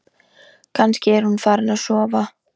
Kannski er hún farin að sofa.